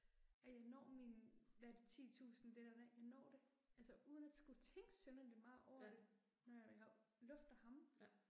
At jeg når mine hvad er det 10000 det der med, jeg når det, altså uden at skulle tænke synderligt meget over det, når jeg øh lufter ham